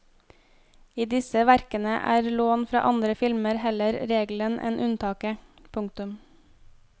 I disse verkene er lån fra andre filmer heller regelen enn unntaket. punktum